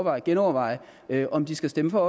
at genoverveje om de skal stemme for